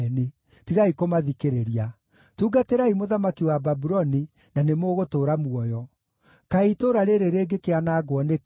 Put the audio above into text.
Tigai kũmathikĩrĩria. Tungatĩrai mũthamaki wa Babuloni, na nĩmũgũtũũra muoyo. Kaĩ itũũra rĩĩrĩ rĩngĩkĩanangwo nĩkĩ?